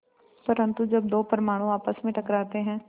परन्तु जब दो परमाणु आपस में टकराते हैं